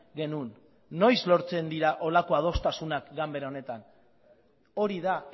genuen noiz lortzen dira horrelako adostasunak ganbera honetan hori da